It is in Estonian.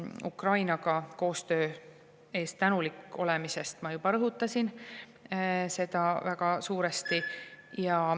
Ukrainaga koostöö eest tänulik olemist ma juba rõhutasin väga suuresti.